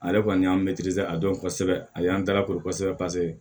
Ale kɔni y'an a dɔn kosɛbɛ a y'an dalakosɛbɛ paseke